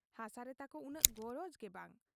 ᱦᱟᱥᱟ ᱨᱮ ᱛᱟᱠᱚ ᱩᱱᱟᱹᱜ ᱜᱚᱨᱚᱡᱽ ᱜᱮ ᱵᱟᱝ ᱾